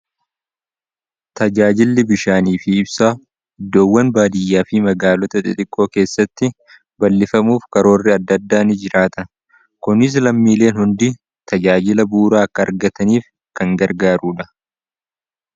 tajaajilli bishaanii fi ibsaa iddoowwan baadiyyaa fii magaalota xiqqoo keessatti bal'ifamuuf karoorri adda addaanii jiraata kunis lammiileen hundi tajaajila buuraa akka argataniif kan gargaaruudha